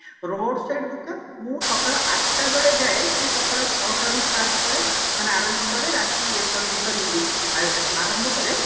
road side ଦୋକାନ ମୁଁ ସକାଳ ଆଠଟା ବେଳେ ଯାଏ ସିଏ ସକାଳ ଛଟା ରୁ start କରେ ମାନେ ଆରମ୍ଭ କରେ ରାତି ଏ sorry ଆ ଆରମ୍ଭ କରେ